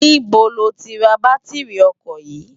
Nibó ló ti rá bàtirí òkò yi?